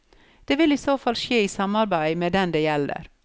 Det vil i så fall skje i samarbeide med den det gjelder.